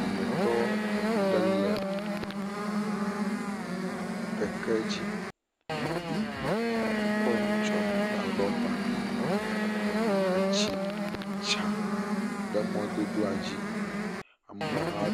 Wɔmetɔ ɖe le keke dzi, ekɔ nu tsyɔ̃ ta rɔba, etsi dza ɖe mɔdodoa dzi, ameha ɖe..